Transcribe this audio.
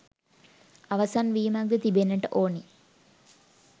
අවසන් වීමක් ද තිබෙන්නට ඕන.